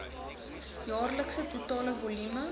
jaarlikse totale volume